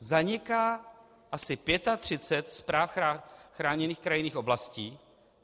Zaniká asi 35 správ chráněných krajinných oblastí.